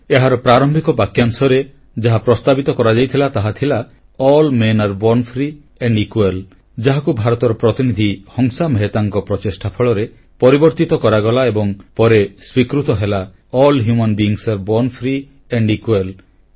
ଏହାର ପ୍ରାରମ୍ଭିକ ବାକ୍ୟାଂଶରେ ଯାହା ପ୍ରସ୍ତାବ ହୋଇଥିଲା ତାହାଥିଲା all men are born free and equal ଯାହାକୁ ଭାରତର ପ୍ରତିନିଧି ହଂସା ମେହେତାଙ୍କ ପ୍ରଚେଷ୍ଟା ଫଳରେ ପରିବର୍ତ୍ତିତ କରାଗଲା ଏବଂ ପରେ ସ୍ୱୀକୃତ ହେଲା all human beings are born free and equal